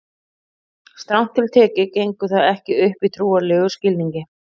strangt til tekið gengur það ekki upp í trúarlegum skilningi